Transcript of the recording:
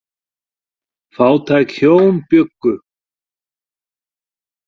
Fátæk hjón bjuggu.